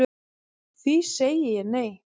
Því segi ég nei